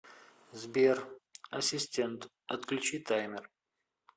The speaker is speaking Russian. сбер ассистент отключи таймер